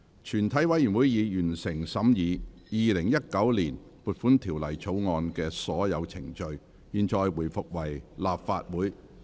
全體委員會已完成審議《2019年撥款條例草案》的所有程序。現在回復為立法會。